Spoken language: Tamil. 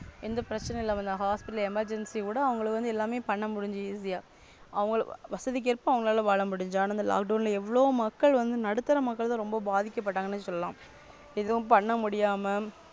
எந்த பிரச்சனை இல்ல Hospital emergency கூட அவங்களுக்கு வந்து எல்லாமே பண்ண முடிஞ்சுது Easy அவங்க வசதிக்கு ஏற்ப அவங்களால வாழ முடிஞ்சது அனா Lockdown எவ்ளோ மக்கள் வந்து நடுத்தர மக்கள் ரொம்ப பாதிக்கப்பட்டாங்கன்னு சொல்லலாம் எதும் பண்ண முடியாம.